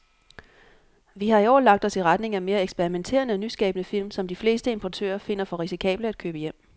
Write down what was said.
Vi har i år lagt os i retning af mere eksperimenterede og nyskabende film, som de fleste importører finder for risikable at købe hjem.